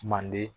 Manden